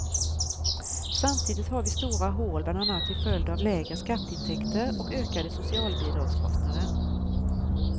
Samtidigt har vi stora hål bland annat till följd av lägre skatteintäkter och ökade socialbidragskostnader.